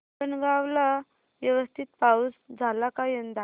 हिंगणगाव ला व्यवस्थित पाऊस झाला का यंदा